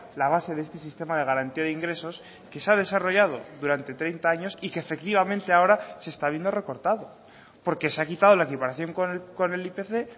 la base de este sistema de garantía de ingresos que se ha desarrollado durante treinta años y que efectivamente ahora se está viendo recortado porque se ha quitado la equiparación con el ipc